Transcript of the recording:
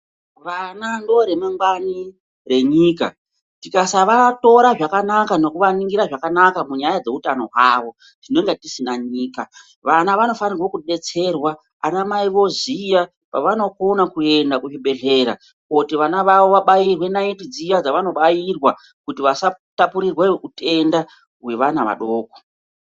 Vana ndore mangwani renyika tikasava tora zvakanaka nekuvaningira zvakanaka munyaya dzehutano hwavo tinenge tisina nyika, vana vanofanirwa kudetserwa anamai voziya pavanokona kuenda kuzvi bhedhlera koti vana vavo kubairwe naiti dziya dzavano bairwa kuti vasatapurirwa utenda hwevana vadoko.